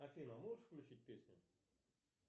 афина можешь включить песню